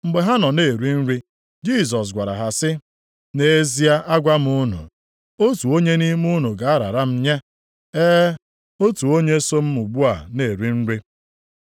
Mgbe ha nọ na-eri nri, Jisọs gwara ha sị, “Nʼezie agwa m unu, otu onye nʼime unu ga-arara m nye. E, otu onye so m ugbu a na-eri nri!”